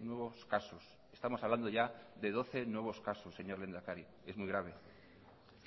nuevos casos estamos hablando ya de doce nuevos casos señor lehendakari es muy grave